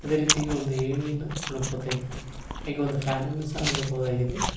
ಅದೇ ರೀತಿ ಒಂದು ಏಣಿಯನ್ನು ನೋಡಬಹುದಾಗಿದೆ ಹಾಗೆ ಒಂದು ಫ್ಯಾನ ನ್ನು ಸಹ ನೋಡಬಹುದಾಗಿದೆ.